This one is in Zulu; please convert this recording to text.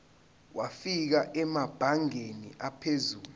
wafika emabangeni aphezulu